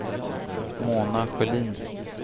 Mona Sjölin